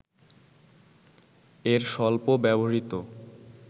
এর সল্প ব্যবহৃত